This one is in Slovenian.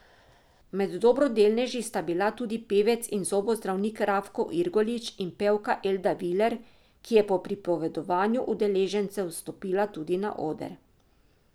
Med dobrodelneži sta bila tudi pevec in zobozdravnik Rafko Irgolič in pevka Elda Viler, ki je po pripovedovanju udeležencev stopila tudi na oder.